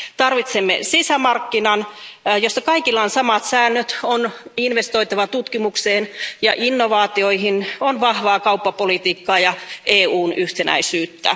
Tarvitsemme sisämarkkinan, jossa kaikilla on samat säännöt, on investoitava tutkimukseen ja innovaatioihin, on vahvaa kauppapolitiikkaa ja EUn yhtenäisyyttä.